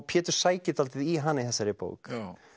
Pétur sækir dálítið í hana í þessari bók